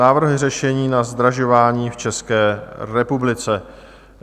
Návrh řešení na zdražování v České republice.